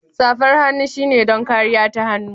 Safar hannu shine don kariya ta hannu.